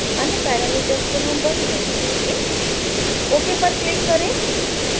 अन्य पैरामीटर्स को हम वही रहने देंगे ok पर क्लिक करें